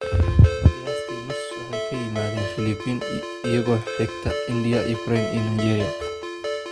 Qiyaastii nus waxay ka yimaadeen Filipiin, iyadoo xigta India, Ukraine, iyo Nigeria.